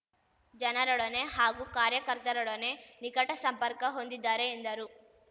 ಜನರೊಡನೆ ಹಾಗೂ ಕಾರ್ಯಕರ್ತರೊಡನೆ ನಿಕಟ ಸಂಪರ್ಕ ಹೊಂದಿದ್ದಾರೆ ಎಂದರು